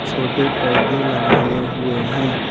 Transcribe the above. छोटे पौधे लगाए हुए है ।